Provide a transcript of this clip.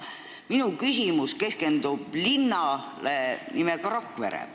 Minu küsimus keskendub linnale nimega Rakvere.